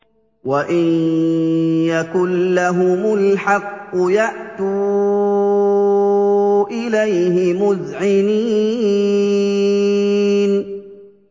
وَإِن يَكُن لَّهُمُ الْحَقُّ يَأْتُوا إِلَيْهِ مُذْعِنِينَ